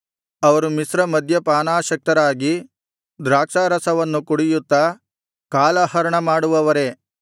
ಅವರು ಮಿಶ್ರಮದ್ಯಪಾನಾಸಕ್ತರಾಗಿ ದ್ರಾಕ್ಷಾರಸವನ್ನು ಕುಡಿಯುತ್ತಾ ಕಾಲಹರಣಮಾಡುವವರೇ